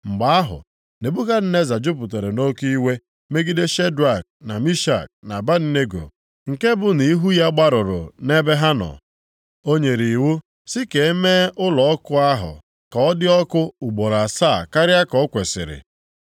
Mgbe ahụ, Nebukadneza jupụtara nʼoke iwe megide Shedrak, na Mishak, na Abednego, nke bụ nʼihu ya gbarụrụ nʼebe ha nọ. O nyere iwu sị ka e mee ụlọ ọkụ ahụ ka ọ dị ọkụ ugboro asaa karịa ka o kwesiri.